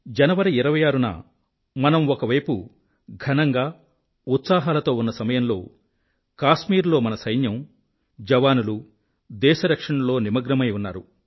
జనవరి 26 న మనం ఒకవైపు ఘనంగా ఉత్సాహాలతో ఉన్న సమయంలో కాశ్మీరులో మన సైన్యం జవానులు దేశ రక్షణలో నిమగ్నమై ఉన్నారు